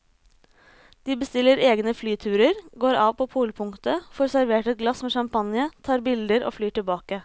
De bestiller egne flyturer, går av på polpunktet, får servert et glass med champagne, tar bilder og flyr tilbake.